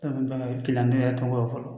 ne yɛrɛ tɛ n bolo fɔlɔ